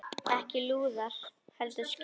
Ekki lúðrar heldur skip.